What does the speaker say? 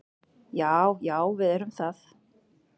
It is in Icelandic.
Já, já við erum það.